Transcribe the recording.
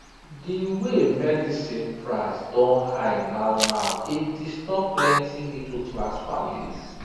the way medicine price don high now now dey disturb plenty middleclass families